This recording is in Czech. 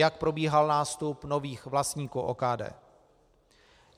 Jak probíhal nástup nových vlastníků OKD.